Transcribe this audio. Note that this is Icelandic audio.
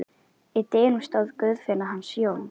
Í dyrunum stóð Guðfinna hans Jóns.